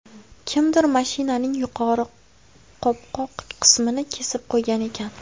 Kimdir mashinaning yuqori qopqoq qismini kesib qo‘ygan ekan.